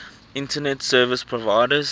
internet service providers